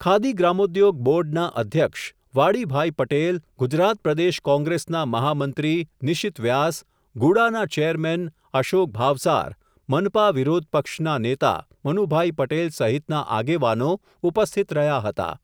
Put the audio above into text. ખાદી ગ્રામોદ્યોગ બોર્ડના અધ્યક્ષ, વાડીભાઇ પટેલ ગુજરાત પ્રદેશ કોંગ્રેસના મહામંત્રી નિશિત વ્યાસ, ગુડાના ચેરમેન અશોક ભાવસાર, મનપા વિરોધપક્ષના નેતા, મનુભાઈ પટેલ સહિતના આગેવાનો ઉપસ્થિત રહ્યા હતા.